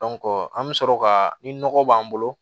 an bɛ sɔrɔ ka ni nɔgɔ b'an bolo